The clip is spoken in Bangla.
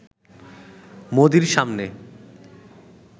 মোদির সামনে